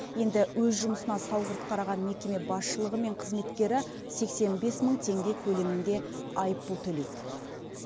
енді өз жұмысына салғырт қараған мекеме басшылығы мен қызметкері сексен бес мың теңге көлемінде айыппұл төлейді